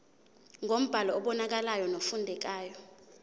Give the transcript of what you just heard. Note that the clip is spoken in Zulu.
ngombhalo obonakalayo nofundekayo